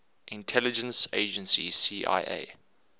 intelligence agency cia